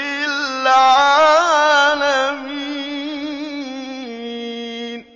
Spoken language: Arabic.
لِّلْعَالَمِينَ